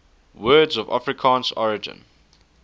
words of afrikaans origin